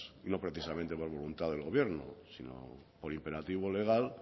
y no precisamente por voluntad del gobierno sino por imperativo legal